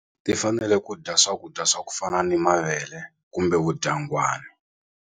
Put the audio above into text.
Ti fanele ku dya swakudya swa ku fana ni mavele kumbe vudyangwani.